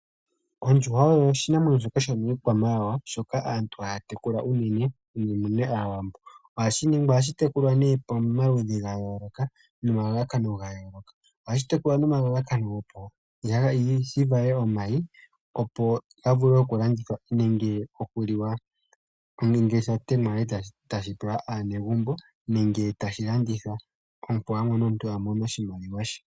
Ondjuhwa oyo oshinamwenyo shoka shomii kwamawawa, shoka aantu haya tekula unene Aawambo. Ohashi tekulwa pamaludhi noma lalakano ga yooloka opo shi vale omayi opoga vule oku landithwa nenge okuliwa, nenge shi liwe kaanegumbo, nenge tashi landithwa opo omuntu a mone oshimaliwa she.